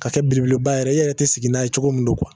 Ka kɛ belebeleba yɛrɛ i yɛrɛ te sigi n'a ye cogo min don